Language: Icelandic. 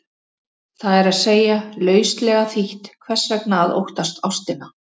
Það er að segja, lauslega þýtt, hvers vegna að óttast ástina?